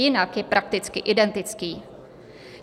Jinak je prakticky identický.